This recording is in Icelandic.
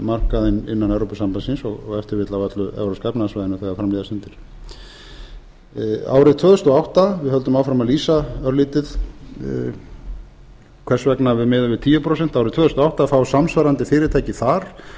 markaðinn innan evrópusambandsins og ef til vill á öllu evrópska efnahagssvæðinu þegar fram líða stundir árið tvö þúsund og átta við höldum áfram að lýsa örlítið hvers vegna við miðum við tíu prósent árið tvö þúsund og átta fá samsvarandi fyrirtæki þar